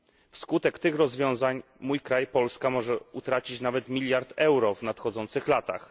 Wskutek tych rozwiązań mój kraj, Polska, może utracić nawet miliard euro w nadchodzących latach.